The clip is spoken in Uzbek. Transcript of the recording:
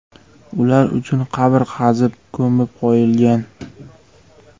Ular uchun qabr qazib ko‘mib qo‘ygan.